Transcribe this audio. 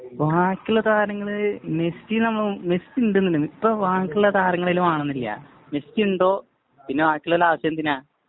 ബാക്കിയുള്ള താരങ്ങള്. മെസ്സി നമ്മുടെ, മെസ്സി ഉണ്ടെന്നുണ്ടെങ്കില്‍, ഇപ്പൊ ബാക്കിയുള്ള താരങ്ങളെയൊന്നും കാണുന്നില്ല. മെസ്സിയുണ്ടോ, പിന്നെ ബാക്കിയുള്ളവരുടെ ആവശ്യം എന്തിനാ?